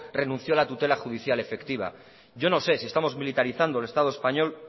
renunció a la tutela judicial efectiva yo no sé si estamos militarizando el estado español